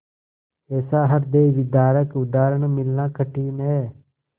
ऐसा हृदयविदारक उदाहरण मिलना कठिन है